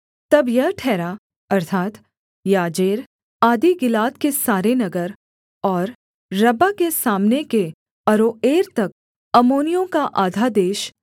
तब यह ठहरा अर्थात् याजेर आदि गिलाद के सारे नगर और रब्बाह के सामने के अरोएर तक अम्मोनियों का आधा देश